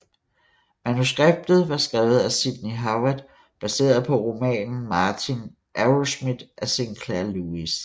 Manuskriptet var skrevet af Sidney Howard baseret på romanen Martin Arrowsmith af Sinclair Lewis